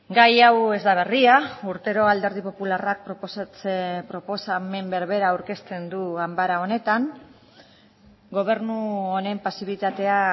gai hau ez da berria urtero alderdi popularrak proposamen berbera aurkezten du ganbara honetan gobernu honen pasibitatea